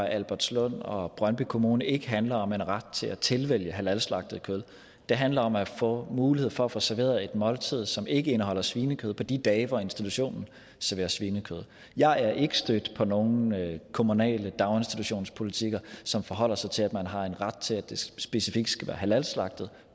albertslund og brøndby kommuner ikke handler om en ret til at tilvælge halalslagtet kød det handler om at få mulighed for at få serveret et måltid som ikke indeholder svinekød på de dage hvor institutionen serverer svinekød jeg er ikke stødt på nogen kommunale daginstitutionspolitikker som forholder sig til at man har en ret til at det specifikt skal være halalslagtet